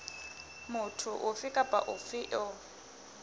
motho ofe kapa ofe eo